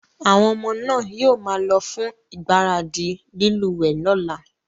Àwon ọmọ náà yio máa lo fún ìgbáradì lílúwẹ̀ẹ́ lọ́la